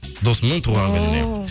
досымның туған күніне